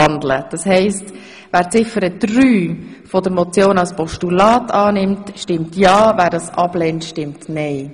Wer somit Ziffer 3 als Postulat annimmt, stimmt ja, wer dies ablehnt, stimmt nein.